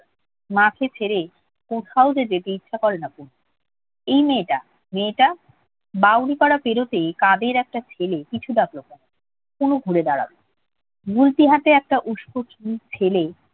মাকে ছেড়ে কোথাও যে যেতে ইচ্ছে করে না তনুর। এই মেয়েটা মেয়েটা। বাউরিপাড়া পেরুতেই কাদের একটা ছেলে পিছু ডাকল তনুকে। তনু ঘুরে দাঁড়াল, গুলতি হাতে একটা উস্কো চুল ছেলে